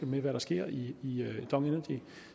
med hvad der sker i dong energy